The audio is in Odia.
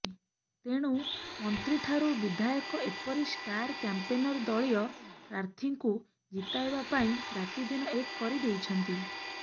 ତେଣୁ ମନ୍ତ୍ରୀଠାରୁ ବିଧାୟକ ଏପରି ଷ୍ଟାର କ୍ୟାମ୍ପେନର ଦଳୀୟ ପ୍ରାର୍ଥୀଙ୍କୁ ଜିତାଇବା ପାଇଁ ରାତିଦିନ ଏକ୍ କରିଦେଇଛନ୍ତି